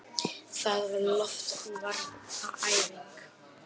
Það var loftvarnaæfing!